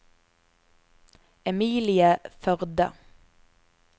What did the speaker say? Emilie Førde